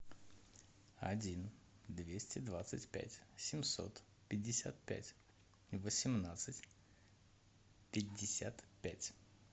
один двести двадцать пять семьсот пятьдесят пять восемнадцать пятьдесят пять